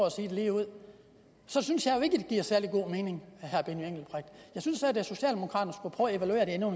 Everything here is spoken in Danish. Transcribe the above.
at sige det ligeud så synes jeg jo ikke giver særlig god mening jeg synes at socialdemokraterne skulle prøve at evaluere det endnu